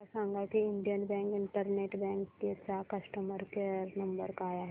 मला सांगा की इंडियन बँक इंटरनेट बँकिंग चा कस्टमर केयर नंबर काय आहे